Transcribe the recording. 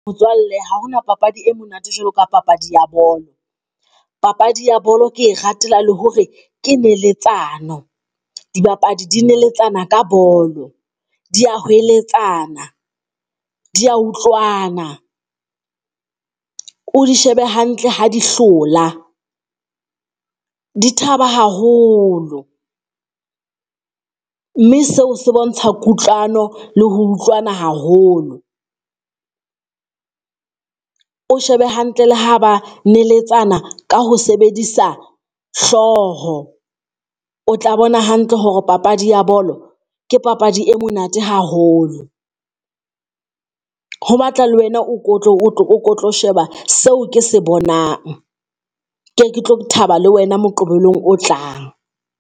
Motswalle ha hona papadi e monate jwalo ka papadi ya bolo. Papadi ya bolo ke e ratela le hore ke neletsano. Dibapadi di neletsana ka bolo. Di a hweletsana. Di a utlwana, o di shebe hantle ha di hlola di thaba haholo, mme seo se bontsha kutlwano le ho utlwana haholo, o shebe hantle le ha ba neletsana ka ho sebedisa hlooho. O tla bona hantle hore papadi ya bolo, ke papadi e monate haholo. Ho batla le wena o ko tlo o tlo sheba seo ke se bonang, ke ke tlo thaba le wena moqebelong o tlang.